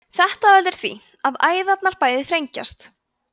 þetta veldur því að æðarnar bæði þrengjast